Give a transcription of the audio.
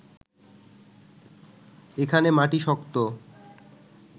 এখানে মাটি শক্ত